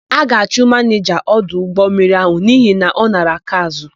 A ga-achụ manịja ọdụ ụgbọmmiri áhụ̀ n'ihi na ọ nara akaázụ̀.